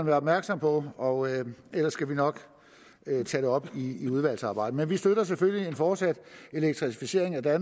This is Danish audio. være opmærksom på og ellers skal vi nok tage det op i udvalgsarbejdet men vi støtter selvfølgelig en fortsat elektrificering af